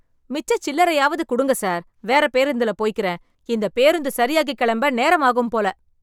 மிச்ச சில்லறையவாது கொடுங்க சார். வேற பேருந்துல போய்க்கிறேன். இந்த பேருந்து சரியாகி கிளம்ப நேரமாகும் போல.